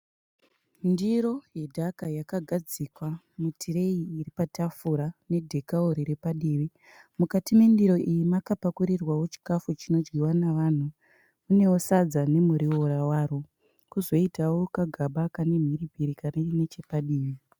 Ndiro yedhaka yakagadzikwa mutireyi iripatafura nedhekawo riri padivi. Mukati mendiro iyi makapakurirwawo chikafu chinodyiwa nevanhu . Munewo Sadza nemuriwo waro. Kozoitawo kagaba kane mhiripiri kari neche padivi.